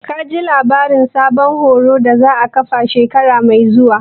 Ka ji labarin sabon horo a kan duka da za a ƙafa shekara mai zuwa?